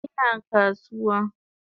Ina kasuwa